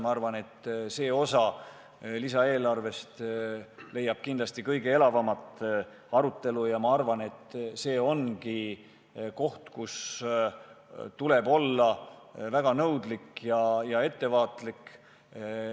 Ma arvan, et see lisaeelarve osa leiab kindlasti kõige elavamat arutelu, ja ma arvan, et see ongi koht, kus tuleb olla väga nõudlik ja ettevaatlik.